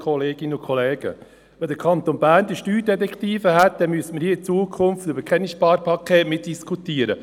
Wenn der Kanton Bern diese Steuerdetektive hätte, müssten wir in Zukunft hier über keine Sparpakete mehr diskutieren.